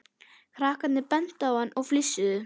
Krakkarnir bentu á hann og flissuðu.